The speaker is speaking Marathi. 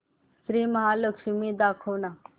श्री महालक्ष्मी दाखव ना